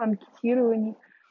анкетирование